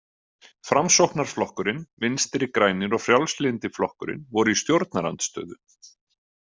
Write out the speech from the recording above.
Framsóknarflokkurinn, Vinstri grænir og Frjálslyndi flokkurinn voru í stjórnarandstöðu.